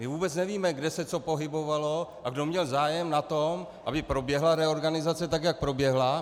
My vůbec nevíme, kde se co pohybovalo a kdo měl zájem na tom, aby proběhla reorganizace tak, jak proběhla.